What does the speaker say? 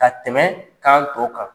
Ka tɛmɛ kan tɔw kan